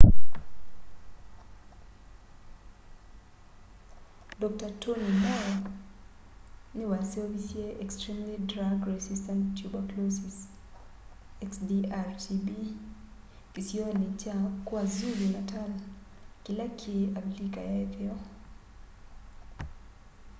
dr. tony moll niwaseovisye extremely drug resistant tuberclosis xdr-tb kisioni kya kwazulu-natal kila ki avilika ya itheo